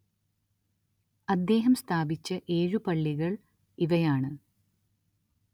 അദ്ദേഹം സ്ഥാപിച്ച ഏഴു പള്ളികള്‍ ഇവയാണ്